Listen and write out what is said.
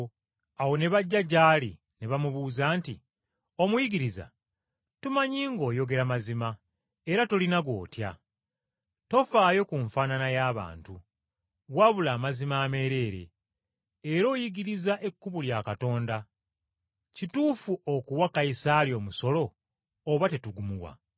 Awo ne bajja gy’ali ne bamugamba nti, “Omuyigiriza, tumanyi ng’oyogera mazima era tolina gw’otya. Toffaayo ku nfaanana y’abantu, wabula amazima ameereere, era oyigiriza ekkubo lya Katonda. Kituufu okuwa Kayisaali omusolo oba tetugumuwa?”